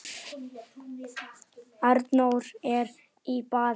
Arnór er í baði